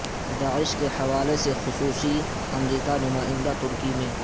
داعش کے حوالے سے خصوصی امریکہ نمائندہ ترکی میں